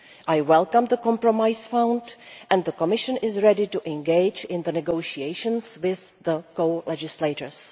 I welcome the compromise found, and the Commission is ready to engage in negotiations with the co legislators.